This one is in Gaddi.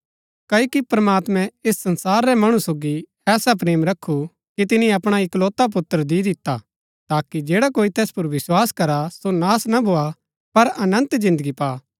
क्ओकि प्रमात्मैं ऐस संसार रै मणु सोगी ऐसा प्रेम रखु कि तिनी अपणा इकलौता पुत्र दि दिता ताकि जैडा कोई तैस पुर विस्वास करा सो नाश ना भोआ पर अनन्त जिन्दगी पा